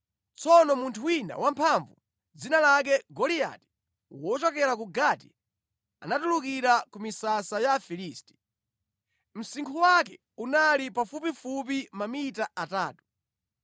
Tsono munthu wina wamphamvu, dzina lake Goliati wochokera ku Gati anatuluka ku misasa ya Afilisti. Msinkhu wake unali pafupipafupi mamita atatu.